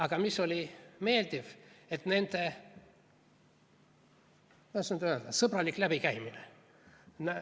Aga mis oli meeldiv, nende, kuidas nüüd öelda, sõbralik läbikäimine.